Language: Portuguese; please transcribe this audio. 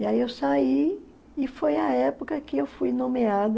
E aí eu saí e foi a época que eu fui nomeada